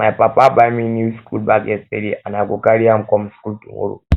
my papa buy me new school bag yesterday and i go carry am come school tomorrow